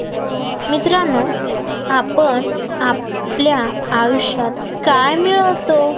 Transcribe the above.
मित्रांनो आपण आपल्या आयुष्यात काय मिळवतो